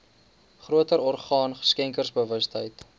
groter orgaan skenkersbewustheid